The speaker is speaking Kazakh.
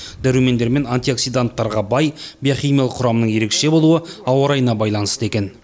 дәрумендер мен антиоксиданттарға бай биохимиялық құрамының ерекше болуы ауа райына байланысты екен